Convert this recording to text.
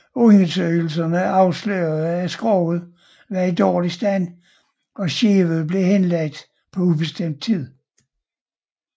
Undersøgelserne afslørede at skroget var i dårlig stand og skibet blev henlagt på ubestemt tid